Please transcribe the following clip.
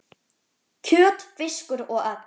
kjöt, fiskur og egg